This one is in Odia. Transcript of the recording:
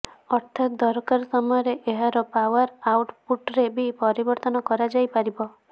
ଅର୍ଥାତ ଦରକାର ସମୟରେ ଏହାର ପାୱାର ଆଉଟ ପୁଟରେ ବି ପରିବର୍ତ୍ତନ କରାଯାଇପାରିବ